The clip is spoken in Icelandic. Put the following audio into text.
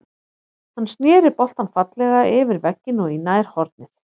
Hann snéri boltann fallega yfir vegginn og í nærhornið.